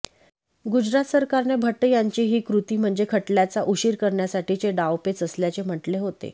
गुजरात सरकारने भट्ट यांची ही कृती म्हणजे खटल्याला उशीर करण्यासाठीचे डावपेच असल्याचे म्हटले होते